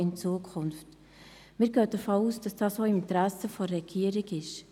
Wir gehen davon aus, dass dies auch im Interesse der Regierung ist.